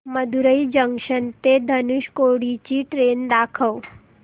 Madurai junction ते धनुषकोडी ची train दाखव